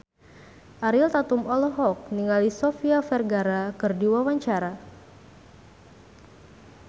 Ariel Tatum olohok ningali Sofia Vergara keur diwawancara